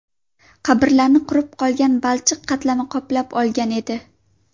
Qabrlarni qurib qolgan balchiq qatlami qoplab olgan edi.